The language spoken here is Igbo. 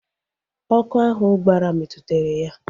Ọkụ ahụ gbara metụtara ya